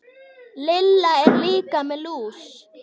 Lilla er líka með lús.